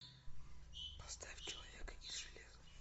поставь человека из железа